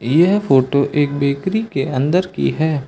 यह फोटो एक बेकरी के अंदर की है।